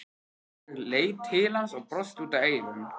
Ég leit til hans og brosti út að eyrum.